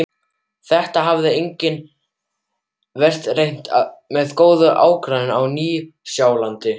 Þetta hafði einnig verið reynt með góðum árangri á Nýja-Sjálandi.